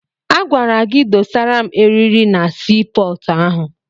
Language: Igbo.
Agwara gị dọsara m erịrị na sii pọọtụ ahụ!